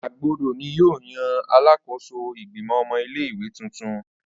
Agbodo ni yoo yan Alakoso Igbimọ ọmọ ile-iwe tuntun.